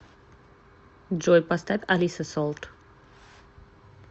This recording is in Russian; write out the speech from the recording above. джой поставь алисса солт